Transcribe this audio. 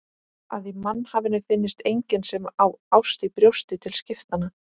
Að í mannhafinu finnist enginn sem á ást í brjósti til skiptanna.